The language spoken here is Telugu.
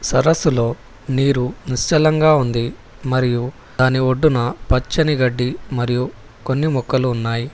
సరస్సులో నీరు నిశ్చలంగా ఉంది మరియు దాని ఒడ్డున పచ్చని గడ్డి మరియు కొన్ని మొక్కలు ఉన్నాయి.